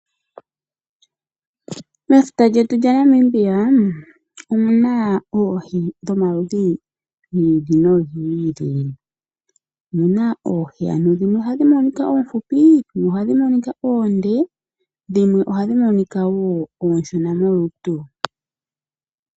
Mefuta lyetu yaNamibia, omuna oohi dhomaludhi giili nogiili. Oohi dhimwe ohadhi monika oofupi, dhimwe ohadhi monika oonde, dhimwe ohadhi monika ooshona molutu.